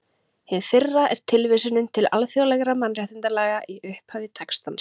Hið fyrra er tilvísunin til alþjóðlegra mannréttindalaga í upphafi textans.